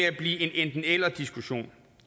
at blive en enten eller diskussion